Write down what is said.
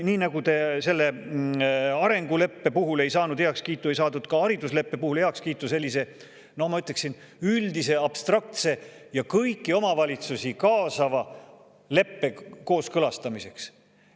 Nii nagu te selle arenguleppe puhul ei saanud heakskiitu, ei saadud ka haridusleppe puhul heakskiitu sellise, ma ütleksin, üldise, abstraktse ja kõiki omavalitsusi kaasava leppe kooskõlastamiseks.